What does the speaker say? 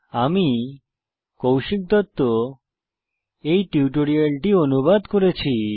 আমি কৌশিক দত্ত এই টিউটোরিয়াল টি অনুবাদ করেছি